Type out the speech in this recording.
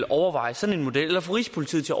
overveje sådan en model eller få rigspolitiet til